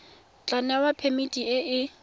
tla newa phemiti e e